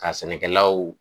Ka sɛnɛkɛlaw